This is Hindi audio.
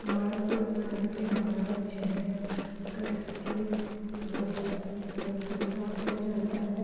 मास्क लगाने पे हमारा चेहरा का स्किन जो है बिलकुल साफ़ हो जाता है।